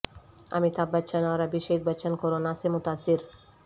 امیتابھ بچن اور ابھیشیک بچن کورونا سے متاثر